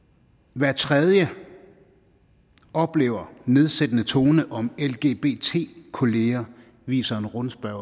hver tredje oplever en nedsættende tone om lgbt kolleger viser en rundspørge